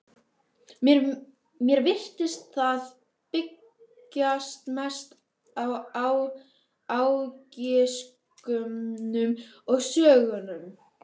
Mér virtist það byggjast mest á ágiskunum og sögusögnum.